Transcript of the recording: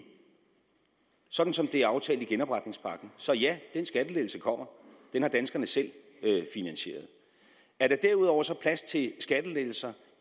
sådan som det er aftalt i genopretningspakken så ja den skattelettelse kommer den har danskerne selv finansieret er der derudover så plads til skattelettelser